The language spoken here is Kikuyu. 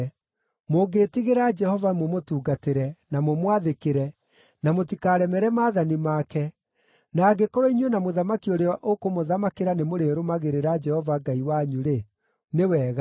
Mũngĩĩtigĩra Jehova, mũmũtungatĩre, na mũmwathĩkĩre, na mũtikaremere maathani make, na angĩkorwo inyuĩ na mũthamaki ũrĩa ũkũmũthamakĩra nĩmũrĩrũmagĩrĩra Jehova Ngai wanyu-rĩ, nĩ wega!